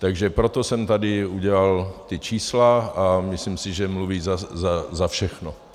Takže proto jsem tady udělal ta čísla a myslím si, že mluví za všechno.